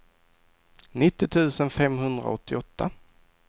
nittio tusen femhundraåttioåtta